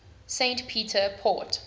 st peter port